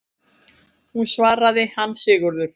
Hún svaraði: Hann Sigurður!